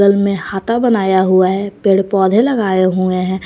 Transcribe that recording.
हाता बनाया हुआ है पेड़ पौधे लगाए हुए हैं।